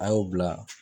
An y'o bila